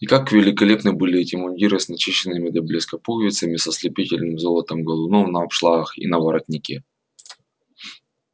и как великолепны были эти мундиры с начищенными до блеска пуговицами с ослепительным золотом галунов на обшлагах и на воротнике